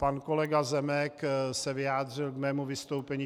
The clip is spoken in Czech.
Pan kolega Zemek se vyjádřil k mému vystoupení.